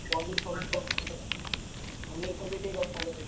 ପନୀର ଫନିର କରିଥାନ୍ତେ। ପନୀର ଫନିର ଟିକେ କରିଥାନ୍ତେ ଭାଇ।